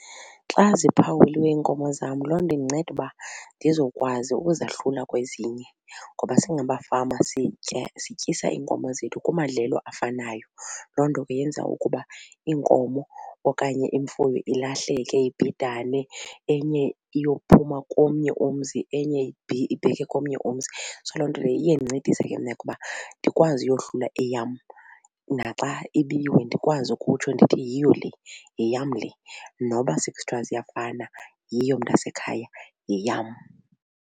Xa ziphawuliwe iinkomo zam loo nto indinceda uba ndizokwazi ukuzahlula kwezinye ngoba singabafama sitya sityisa iinkomo zethu kumadlelo afanayo. Loo nto ke yenza ukuba iinkomo okanye imfuyo ilahleke, ibhidane, enye iyophuma komnye umzi enye ibheke komnye umzi. So loo nto leyo iye indincedise ke mna ke uba ndikwazi uyohlula eyam naxa ibiwe ndikwazi ukutsho ndithi yiyo le yeyam le noba sekuthiwa ziyafana yiyo mntasekhaya yeyam.